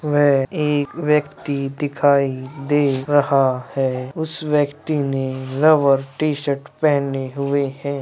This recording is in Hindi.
वे एक व्यक्ति दिखाई दे रहा है | उस व्यक्ति ने लाल टी शर्ट पहने हुए हैं।